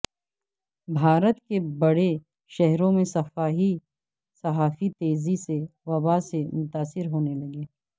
بھارت کے بڑے شہروں میں صحافی تیزی سے وبا سے متاثر ہونے لگے